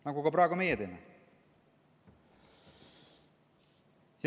Nagu ka meie praegu teeme.